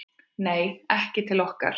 Nei, ekki til okkar